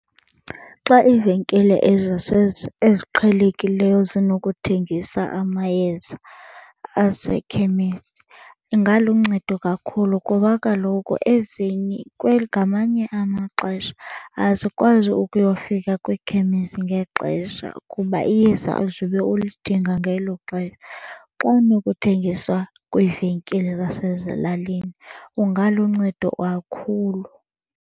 Xa iivenkile eziqhelekileyo zinokuthengisa amayeza asekhemesi ingaluncedo kakhulu kuba kaloku ezinye , ngamanye amaxesha asikwazi ukuyofika kwiikhemesi ngexesha kuba iyeza uzube ulidinga ngelo xesha. Xa anokuthengiswa kwiivenkile zasezilalini kungaluncedo kakhulu.